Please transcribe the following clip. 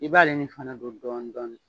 I b'ale nin fana don dɔɔn dɔɔni